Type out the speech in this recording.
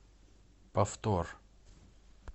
повтор